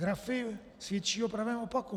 Grafy svědčí o pravém opaku.